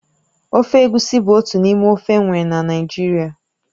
Ofe egusi bụ otu n'ime ofe enwere na Naịjirịa